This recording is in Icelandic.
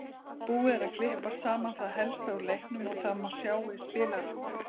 Búið er að klippa saman það helsta úr leiknum og það má sjá í spilaranum.